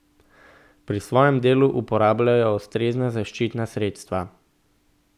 Pri svojem delu uporabljajo ustrezna zaščitna sredstva.